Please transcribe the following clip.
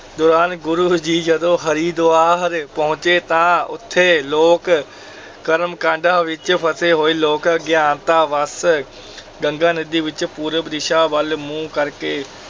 ਦੌਰਾਨ ਗੁਰੂ ਜੀ ਜਦੋਂ ਹਰਿਦੁਆਰ ਪਹੁੰਚੇ, ਤਾਂ ਉੱਥੇ ਲੋਕ ਕਰਮ-ਕਾਂਡਾਂ ਵਿੱਚ ਫਸੇ ਹੋਏ ਲੋਕ ਅਗਿਆਨਤਾ ਵੱਸ ਗੰਗਾ ਨਦੀ ਵਿੱਚ ਪੂਰਬ ਦਿਸ਼ਾ ਵੱਲ ਮੂੰਹ ਕਰਕੇ